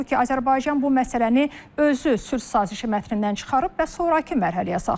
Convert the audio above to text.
Halbuki Azərbaycan bu məsələni özü sülh sazişi mətnindən çıxarıb və sonrakı mərhələyə saxlayıb.